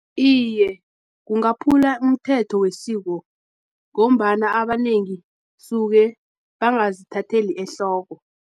Iye, kungaphula umthetho wesiko, ngombana abanengi suke bangazithatheli ehloko.